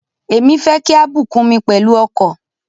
Èmi fẹ́ kí a bùkún mi pẹ̀lú ọkọ̀.